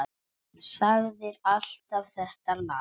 Sagðir alltaf þetta lagast.